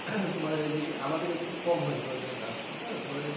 তোমাদের এই দিকে আমাদের এই দিকে কম হয় সরিষা চাষটা হুম তোমাদের এই দিকে